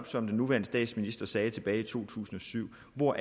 som den nuværende statsminister netop sagde tilbage i to tusind og syv hvor